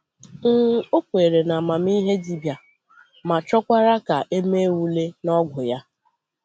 um Ọ kwèrè na amamihe dibịa, ma chọkwara ka e mee ule n'ọgwụ ya.